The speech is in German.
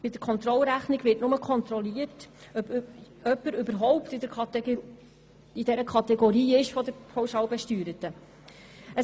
Bei der Kontrollrechnung wird nur kontrolliert, ob jemand überhaupt zur Kategorie der Pauschalbesteuerten gehört.